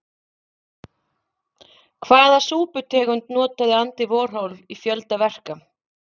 Hvaða súputegund notaði Andy Warhol í fjölda verka?